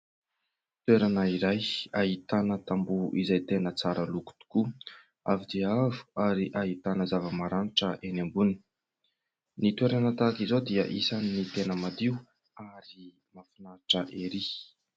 Toerana iray ahitana tamboho izay tena tsara loko tokoa, avo dia avo ary ahitana zava-maranitra eny ambony. Ny toerana tahaka izao dia isan'ny tena madio ary mahafinaritra ery.